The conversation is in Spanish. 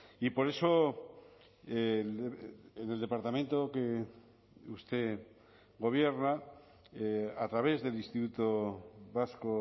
y por eso en el departamento que usted gobierna a través del instituto vasco